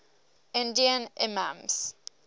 indian imams